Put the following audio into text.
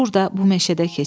"Burda, bu meşədə keçirdi.